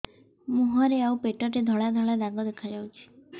ମୁହଁରେ ଆଉ ପେଟରେ ଧଳା ଧଳା ଦାଗ ଦେଖାଯାଉଛି